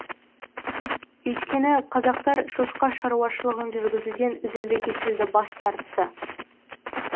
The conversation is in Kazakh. өйткені қазақтар шошқа шаруашылығын жүргізуден үзілді кесілді бас тартты